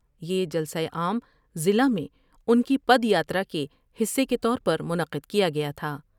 یہ جلسہ عام ضلع میں ان کی پد یاترا کے حصے کے طور پر منعقد کیا گیا تھا ۔